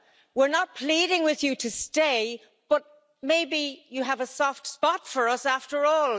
We're not pleading with you to stay, but maybe you have a soft spot for us after all.